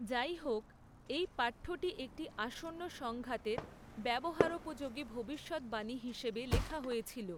যাইহোক, এই পাঠ্যটি একটি আসন্ন সংঘাতের ব্যবহারোপযোগী ভবিষ্যদ্বাণী হিসাবে লেখা হয়েছিল।